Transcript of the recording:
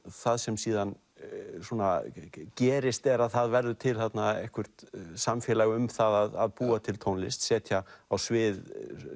það sem síðan gerist er að það verður til þarna eitthvert samfélag um það að búa til tónlist setja á svið